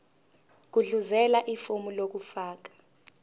gudluzela ifomu lokufaka